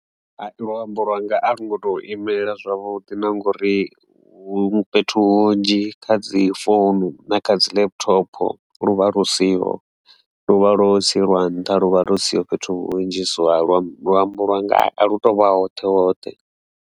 Luambo lwanga a lu ngoto imelela zwavhuḓi na ngori muthu fhethu hunzhi kha dzi Founu na kha dzi Laptop lu vha lu siho luvha lo sielwa nnḓa lu vha lo siho fhethu hunzhi so luambo lwanga a lu to vha hoṱhe hoṱhe.